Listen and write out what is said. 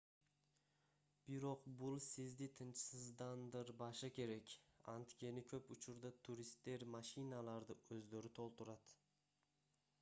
бирок бул сизди тынчсыздандырбашы керек анткени көп учурда туристтер машиналарды өздөрү толтурат